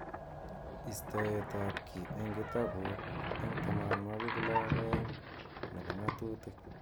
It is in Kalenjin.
Istoet ab ki eng kitabut eng 62 nebo ng'atutik.